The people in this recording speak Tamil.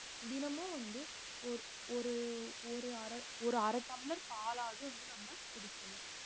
தினமும் வந்து ஓர்~ ஒரு ஒரு அரை ஒரு அரை டம்ளர் பாலாவது வந்து நம்ம குடிக்கணும்